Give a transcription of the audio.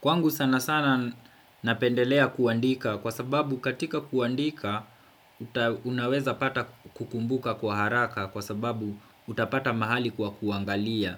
Kwangu sana sana napendelea kuandika kwa sababu katika kuandika. Unaweza pata kukumbuka kwa haraka kwa sababu utapata mahali kwa kuangalia.